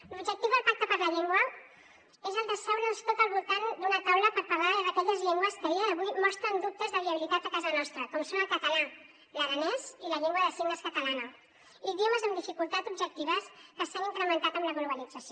l’objectiu del pacte per la llengua és el d’asseure’ns tots al voltant d’una taula per parlar d’aquelles llengües que a dia d’avui mostren dubtes de viabilitat a casa nostra com són el català l’aranès i la llengua de signes catalana idiomes amb dificultats objectives que s’han incrementat amb la globalització